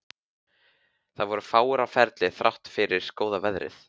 Það voru fáir á ferli þrátt fyrir góða veðrið.